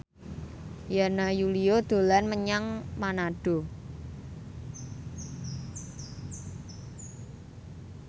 Yana Julio dolan menyang Manado